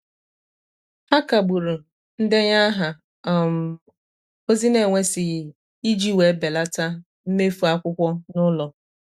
ha kagburu ndenye aha um ozi n'enwesighi i ji wee belata mmefu akwụkwọ n'ụlọ.